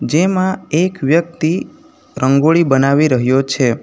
તેમાં એક વ્યક્તિ રંગોળી બનાવી રહ્યો છે.